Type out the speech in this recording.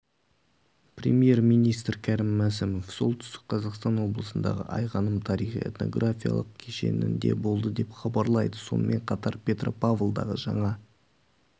премьер-министрі кәрім мәсімов солтүстік қазақстан облысындағы айғаным тарихи-этнографиялық кешенінде болды деп хабарлайды сонымен қатар петропавлдағы жаңа